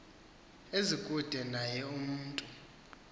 ezikude naye umntu